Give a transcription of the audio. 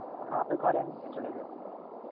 হা ঘরেন চলে যায়.